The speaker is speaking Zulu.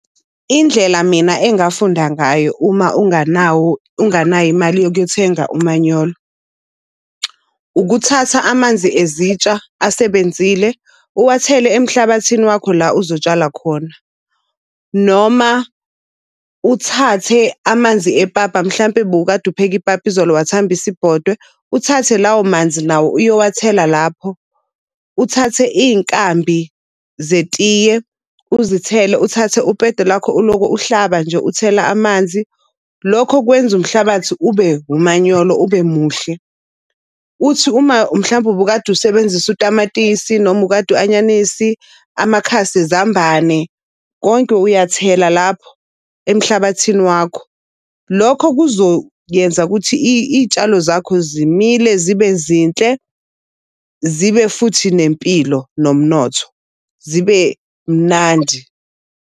Indlela mina engafunda ngayo uma unganawo unganayo imali yokuyothenga umanyolo, ukuthatha amanzi ezitsha asebenzile uwathele emhlabathini wakho la uzotshala khona. Noma uthathe amanzi epapa mhlampe bowukade upheke ipapa izolo wathembisa ibhodwe, uthathe lawo manzi lawo uyowathela lapho. Uthathe iy'nkambi zetiye uzithele uthathe upede lakho ulokho uhlaba nje uthela amanzi. Lokho kwenza umhlabathi ube umanyolo, ube muhle. Uthi uma mhlawumbe ubukade usebenzisa utamatisi noma ukade u-anyanisi amakhasi ezambane, konke uyathela lapho emhlabathini wakho. Lokho kuzoyenza ukuthi iy'tshalo zakho zimile zibe zinhle, zibe futhi nempilo, nomnotho, zibe mnandi.